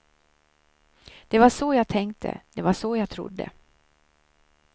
Det var så jag tänkte, det var så jag trodde.